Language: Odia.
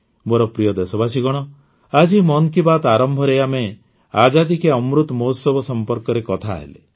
ମୋର ପ୍ରିୟ ଦେଶବାସୀଗଣ ଆଜି ମନ୍ କି ବାତ୍ ଆରମ୍ଭରେ ଆମେ ଆଜାଦି କା ଅମୃତ ମହୋତ୍ସବ ସମ୍ପର୍କରେ କଥାହେଲେ